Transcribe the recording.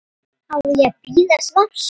Á ég að bíða svars?